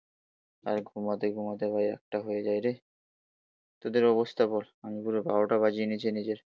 আর ঘুমাতে ঘুমাতে ভাই একটা হয়ে যায় রে তোদের অবস্থা বল আমি পুরো বারোটা বাজিয়ে নিয়েছি নিজের